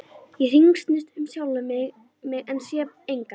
Ég hringsnýst um sjálfa mig en sé engan.